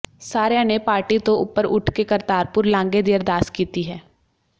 ਸਾਰਿਆਂ ਨੇ ਪਾਰਟੀ ਤੋਂ ਉਪਰ ਉੱਠ ਕੇ ਕਰਤਾਰਪੁਰ ਲਾਂਘੇ ਦੀ ਅਰਦਾਸ ਕੀਤੀ ਹੈ